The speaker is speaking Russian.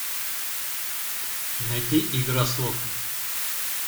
найди игра слов